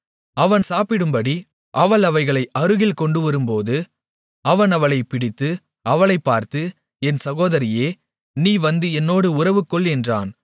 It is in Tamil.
அவன் சாப்பிடும்படி அவள் அவைகளைக் அருகில் கொண்டுவரும்போது அவன் அவளைப் பிடித்து அவளைப் பார்த்து என் சகோதரியே நீ வந்து என்னோடு உறவுகொள் என்றான்